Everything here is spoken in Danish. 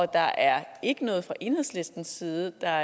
der er ikke noget fra enhedslistens side der